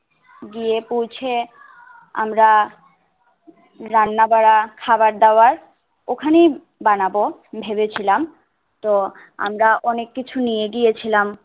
গিয়ে পৌঁছে আমরা রান্নাবারা খাওয়া দাওয়া ওখানি বানাবো ভেবেছিলাম তো আমরা অনেক কিছু নিয়ে গিয়েছিলাম